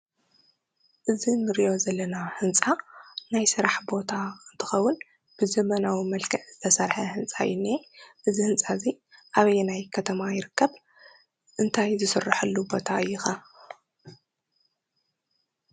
እዝ እንርእዮ ዘለና ሕንፃ ናይ ስራሕ ቦታ እንተኸውን ብዘመናዊ መልከዕ ዝተሰርሐ ሕንፃ እዩ ዝኒአ። እዚ ሕንፃ እዙይ ኣበየናይ ከተማ ይርከብ? እንታይ ዝስረሕሉ ቦታ እዩ ከ?